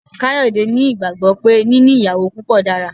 Kayode ni gbàgbo pé níní ìyàwó púpọ dára.